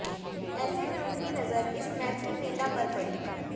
ऐसे में उनकी नजर इस मैथिल नेता पर पड़ी